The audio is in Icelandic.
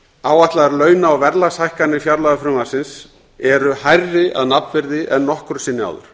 áætlaðar launa og verðlagshækkanir fjárlagafrumvarpsins eru hærri að nafnvirði en nokkru sinni áður